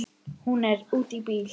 Hún er úti í bíl!